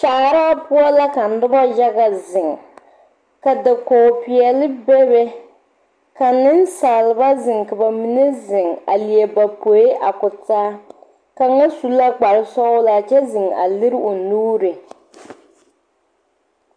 Kyaaraa poɔ la ka noba yaga ziŋ ka dakoge peɛle bebe ka niŋsaalba ziŋ ka ba mine ziŋ e ba poe a ko taa kaŋa su la kpare sɔglaa kyɛ ziŋ a lere o nuuri.